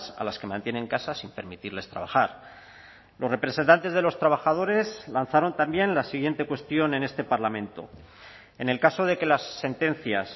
a las que mantiene en casa sin permitirles trabajar los representantes de los trabajadores lanzaron también la siguiente cuestión en este parlamento en el caso de que las sentencias